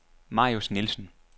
Marius Nielsen